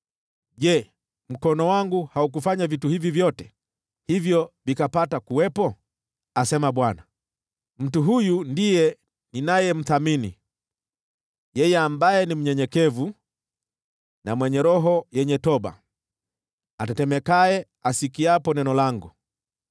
Je, mkono wangu haukufanya vitu hivi vyote, hivyo vikapata kuwepo?” asema Bwana . “Mtu huyu ndiye ninayemthamini: yeye ambaye ni mnyenyekevu na mwenye roho yenye toba, atetemekaye asikiapo neno langu.